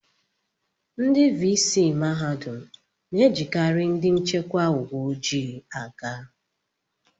Ndị vii sii mahadum na-ejikarị ndị nchekwa uwe ojii aga